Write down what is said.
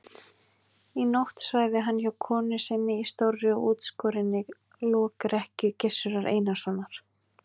Í nótt svæfi hann hjá konu sinni í stórri og útskorinni lokrekkju Gizurar Einarssonar.